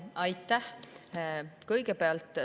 Aitäh!